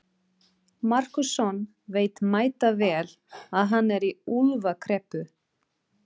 Markússon veit mætavel að hann er í úlfakreppu.